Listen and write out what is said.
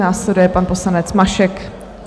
Následuje pan poslanec Mašek.